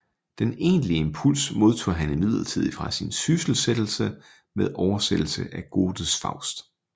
Den egentlige impuls modtog han imidlertid fra sin sysselsættelse med oversættelse af Goethes Faust